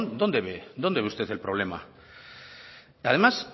ve usted el problema además